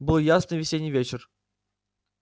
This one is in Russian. был ясный весенний вечер